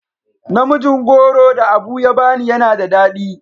Namijin goro da Abu ya bani yana da dadi.